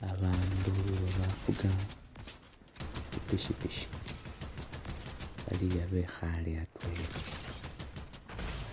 Babandu abafuga tsipikipiki bali aa' bekhaale atwela,